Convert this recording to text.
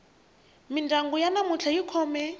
mindyangu ya namuntlha yi khome